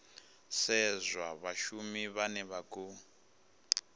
sedzwa vhashumi vhane vha khou